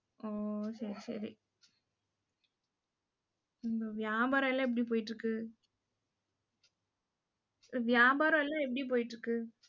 ஓ, சரி சரி. இந்த வியாபாரம் எல்லாம் எப்படி போயிட்டிருக்கு வியாபாரம் எல்லாம் எப்படி போயிட்டிருக்கு